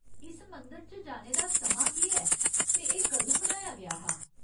इस मंदर जाने दा समां केह् ऐ ते एह् कदूं बनाया गेआ हा ?